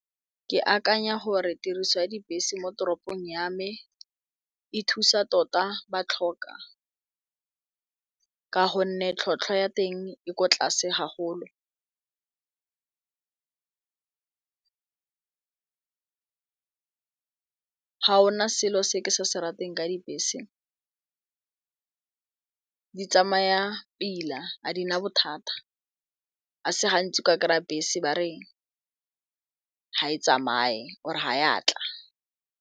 Ke akanya gore tiriso ya dibese mo toropong yame e thusa tota ba tlhoka ka gonne tlhotlhwa ya teng e kwa tlase ga golo ga ona selo se ke se se rateng ka dibese di tsamaya pila a dina bothata a se gantsi ka kry-a bese ba re ga e tsamaye or ga ya tla.